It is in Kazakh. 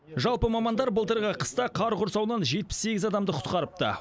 жалпы мамандар былтырғы қыста қар құрсауынан жетпіс сегіз адамды құтқарыпты